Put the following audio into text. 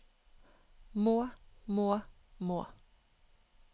må må må